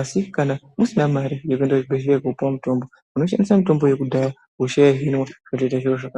Asi kana usina mari yekuenda kuchibhedhleya kopuva mutombo unoshandisa mitombo yakudhaya hosha yohinwa zvoita zviro zvakanaka.